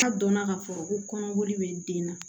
Ka dɔnna k'a fɔ ko kɔnɔboli bɛ den na